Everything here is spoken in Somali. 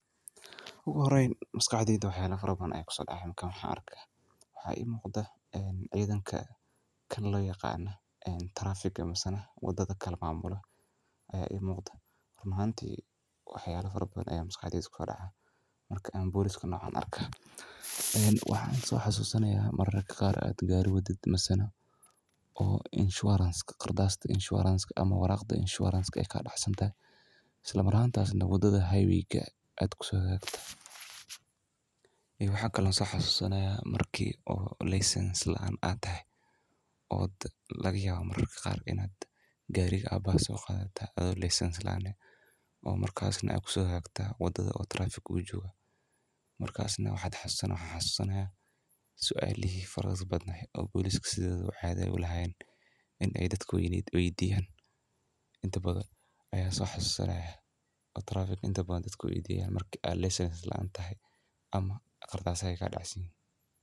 Ugu horeyn, maskaxdeyda waxyala farabadan ayaa kuso dhacayaa markan waxyalahan arko, waxaa ii muuqda ee ciidanka kan loyaqaana traffic misena wadada kala maamulo ayaa ii muuqda, run ahantii waxyalo farabadan ayaa maskaxdeyda kuso dhaca marka aan poliiska noocan arka, een waxaan soo xasuusanayaa mararka qaar ee ad gaari wadid misana oo insuranceka qardaasda insurance ama warqada insurance eey kaa dhacsantahay, islamar'ahantaasina wadada highwayga ad kuso hagaagto iyo waxaa kale oo soo xasuusanayaa markii oo license laan atahay oo laga yaabo mararka qaar inad gaariga abahaa soo qaadataa adoo license laan ah oo markaasna ad kuso hagaagtid wadada oo traffic jooga, markaasna waxaan xasuusanayaa sualihii faraha badnaayeen oo poliiska sidodaba caado ulahayeen in eey dadka weydiyaan intabadan ayaan soo xasuusanayaa oo traffic dadka weydiyaan intabadan markii ad license laan tahay ama qardaasaha kaa dhacsanyihiin.